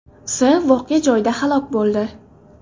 S. voqea joyida halok bo‘ldi.